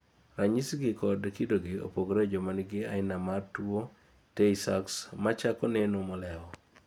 ranyisigi kod kidogi opogore e joma nigi aina mar tuwo tay sachs machako neno molewo